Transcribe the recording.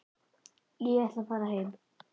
Ég ætla að fara heim.